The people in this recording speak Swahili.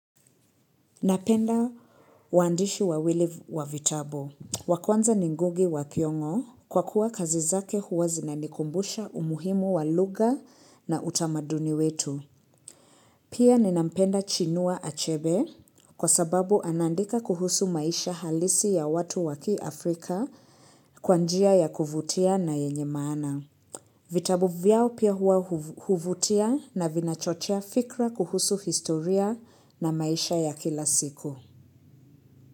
Napenda waandishi wawili wa bitabu. Wa kwanza ni Ngugi Wathiong'o kwa kuwa kazi zake huwa zina nikumbusha umuhimu walugha na utamaduni wetu. Pia ni nampenda Chinua Achebe kwa sababu anandika kuhusu maisha halisi ya watu wa kiafrika kwa njia ya kuvutia na yenye maana. Vitabu vyao pia huwa huvutia na vinachochea fikra kuhusu historia na maisha ya kila siku.